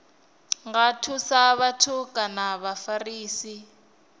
nga thusa vhathu kana vhafarisi